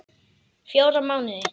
Fjóra mánuði.